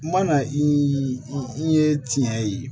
Mana i ye tiɲɛ ye